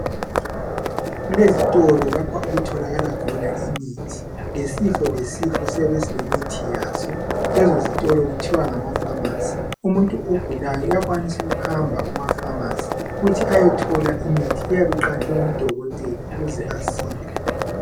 Kulezitolo lapho okutholakala khona imithi. Yisifo lesifo siyabe silemithi yazo. Lezi zitolo kuthiwa ngamapharmacy. Umuntu ogulayo uyakwanisa ukuhamba kumapharmacy ukuthi ayethola imithi eyabe iqanjwe ngodokotela ukuze asile.